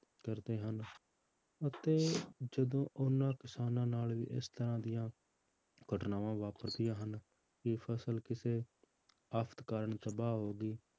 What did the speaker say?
ਕਰਦੇ ਹਨ ਅਤੇ ਜਦੋਂ ਉਹਨਾਂ ਕਿਸਾਨਾਂ ਨਾਲ ਵੀ ਇਸ ਤਰ੍ਹਾਂ ਦੀਆਂ ਘਟਨਾਵਾਂ ਵਾਪਰਦੀਆਂ ਹਨ, ਵੀ ਫਸਲ ਕਿਸੇ ਆਫ਼ਤ ਕਾਰਨ ਤਬਾਹ ਹੋ ਗਈ,